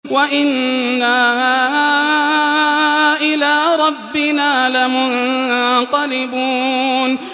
وَإِنَّا إِلَىٰ رَبِّنَا لَمُنقَلِبُونَ